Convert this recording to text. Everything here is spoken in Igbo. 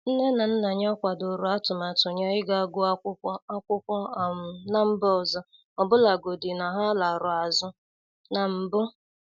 Nne na nna ya kwadoro atụmatụ ya iga guọ akwụkwọ akwụkwọ um na mba ọzọ, ọbụlagodi na ha larụ azụ na mbụ.